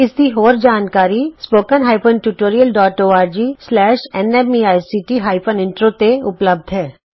ਇਸ ਦੀ ਹੋਰ ਜਾਣਕਾਰੀ spoken hyphen tutorial dot ORG slash N MEICT hyphen intro ਤੇ ਉਪਲੱਭਧ ਹੈ